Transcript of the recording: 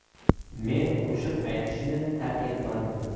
Men qo‘shiq aytishni tark etmadim.